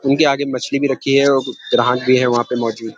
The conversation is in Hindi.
उनके आगे मछली भी रक्खी है और ग्राहक भी है वहा पे मौजूद।